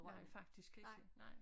Nej faktisk ikke nej